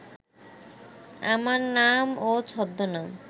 আমার নাম ও ছদ্মনাম